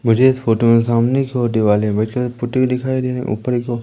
मुझे इस फोटो में सामने की ओर दिवाले पुटी हुई दिखाई रही ऊपर एक ओ --